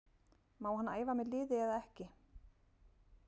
Má hann æfa með liði eða ekki?